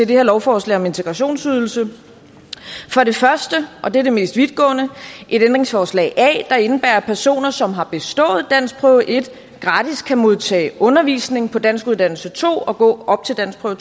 her lovforslag om integrationsydelse det første og det er det mest vidtgående er et ændringsforslag a der indebærer at personer som har bestået danskprøve en gratis kan modtage undervisning på danskuddannelse to og gå op til danskprøve